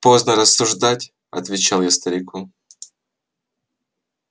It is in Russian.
поздно рассуждать отвечал я старику